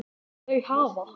Þau hafa